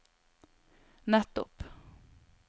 nettopp